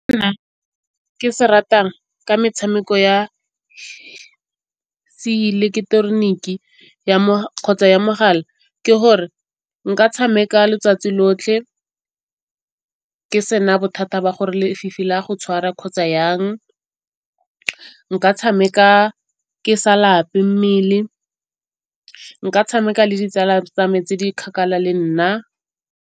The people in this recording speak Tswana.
Nna ke se ratang ka metshameko ya seileketeroniki kgotsa ya mogala ke gore nka tshameka letsatsi lotlhe ke se na bothata ba gore lefifi la go tshwara kgotsa jang. Nka tshameka ke sa lape mmele, nka tshameka le ditsala tsa me tse di kgakala le nna.